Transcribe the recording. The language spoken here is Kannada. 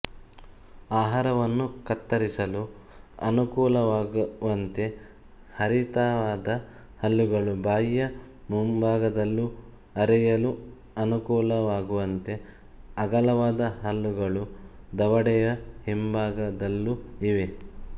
ಆಹಾರವನ್ನು ಕತ್ತರಿಸಲು ಅನುಕೂಲವಾಗುವಂತೆ ಹರಿತವಾದ ಹಲ್ಲುಗಳು ಬಾಯಿಯ ಮುಂಭಾಗದಲ್ಲೂ ಅರೆಯಲು ಅನುಕೂಲವಾಗುವಂತೆ ಅಗಲವಾದ ಹಲ್ಲುಗಳು ದವಡೆಯ ಹಿಂಭಾಗದಲ್ಲೂ ಇವೆ